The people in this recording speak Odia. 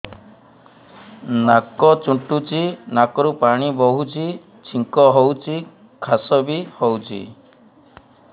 ନାକ ଚୁଣ୍ଟୁଚି ନାକରୁ ପାଣି ବହୁଛି ଛିଙ୍କ ହଉଚି ଖାସ ବି ହଉଚି